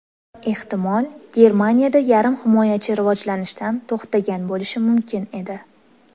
Ehtimol, Germaniyada yarim himoyachi rivojlanishdan to‘xtagan bo‘lishi mumkin edi.